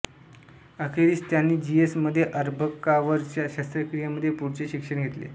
अखेरीस त्यांनी G S मध्ये अर्भकांवरच्या शस्त्रक्रियेमध्ये पुढचे शिक्षण घेतले